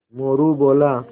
मोरू बोला